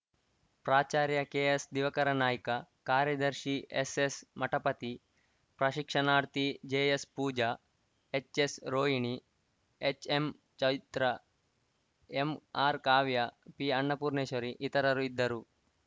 ಪ್ರಾಚಾರ್ಯ ಕೆಎಸ್‌ದಿವಕರ ನಾಯ್ಕ ಕಾರ್ಯದರ್ಶಿ ಎಸ್‌ಎಸ್‌ಮಠಪತಿ ಪ್ರಶಿಕ್ಷಣಾರ್ಥಿ ಜೆಎಸ್‌ಪೂಜಾ ಎಚ್‌ಎಸ್‌ರೋಹಿಣಿ ಎಚ್‌ಎಂಚೈತ್ರ ಎಂಆರ್‌ಕಾವ್ಯ ಪಿಅನ್ನಪೂರ್ಣೇಶ್ವರಿ ಇತರರು ಇದ್ದರು